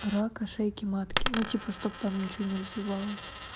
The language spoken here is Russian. рака шейки матки ну типа чтоб там ничего не развивалось